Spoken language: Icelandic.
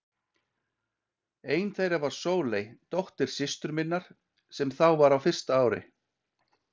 Ein þeirra var Sóley, dóttir systur minnar, sem þá var á fyrsta ári.